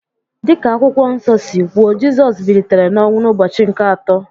Dị ka Akwụkwọ Nsọ si kwuo, Jizọs bilitere n’ọnwụ n’ụbọchị nke atọ